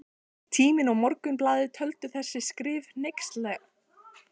Tíminn og Morgunblaðið töldu þessi skrif hneykslanleg.